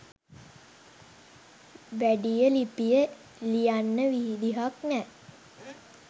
වැඩිය ලිපිය ලියන්න විදිහක් නැ